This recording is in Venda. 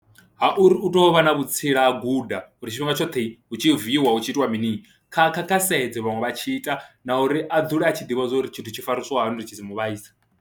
Ha uri u tou vha na vhutsila a guda uri tshifhinga tshoṱhe hu tshi viiwa hu tshi itiwa mini kha kha kha sedze vhaṅwe vha tshi ita na uri a dzule a tshi ḓivha zwo ri tshithu tshi farisiwa hani uri tshi si mu vhaise.